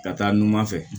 Ka taa numan fɛ